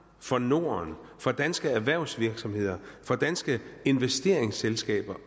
for norden for danske erhvervsvirksomheder for danske investeringsselskaber